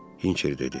Hinçer dedi.